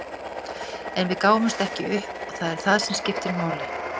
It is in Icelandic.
En við gáfumst ekki upp og það er það sem skiptir máli.